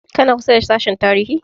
Kana kusa da sashen tarihi?